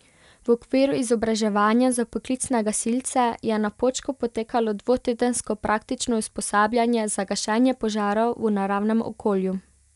V okviru izobraževanja za poklicne gasilce je na Počku potekalo dvotedensko praktično usposabljanje za gašenje požarov v naravnem okolju.